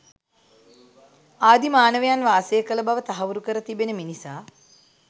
ආදි මානවයන් වාසය කළ බව තහවුරු කර තිබෙන මිනිසා